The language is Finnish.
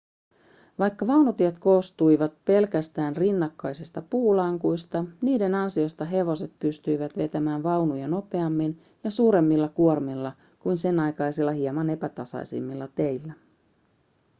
vaikka vaunutiet koostuivat pelkästään rinnakkaisista puulankuista niiden ansiosta hevoset pystyivät vetämään vaunuja nopeammin ja suuremmilla kuormilla kuin senaikaisilla hieman epätasaisemmilla teillä